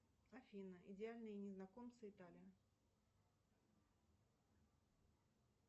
афина идеальные незнакомцы италия